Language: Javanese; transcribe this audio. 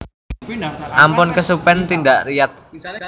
Ampun kesupen tindak Riyadh